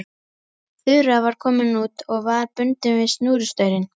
Þura var komin út og var bundin við snúrustaurinn.